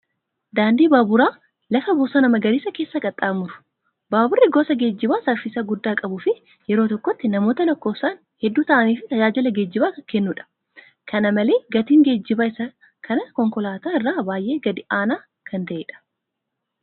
Daandii baaburaa lafa bosona magariisa keessa qaxxaamuru. Baaburri gosa geejjibaa saffisa guddaa qabuu fi yeroo tokkotti namoota lakkoofsaan hedduu ta'aniif tajaajila geejjibaa kan kennudha. Kana malee gatiin geejjibaa isaa kan konkolaattotaa irra baay'ee gadi aanaa kan ta'edha.